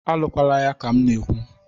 A lụkwalaya ka m na-ekwu!